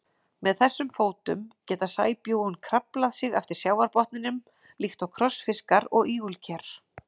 Með þessum fótum geta sæbjúgun kraflað sig eftir sjávarbotninum líkt og krossfiskar og ígulker.